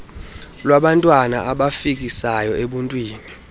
lwabantwana abafikisayo ebuntwini